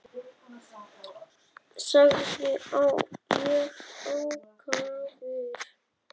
sagði ég ákafur.